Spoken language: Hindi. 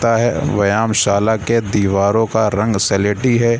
ता है व्यायामशाला के दीवारों का रंग स्लेटी है।